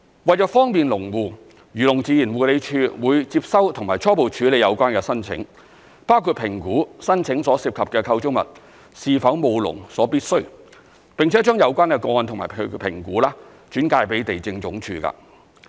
為方便農戶，漁農自然護理署會接收及初步處理有關的申請，包括評估申請所涉及的構築物是否務農所必需，並且把有關個案及其評估轉介予地政總署。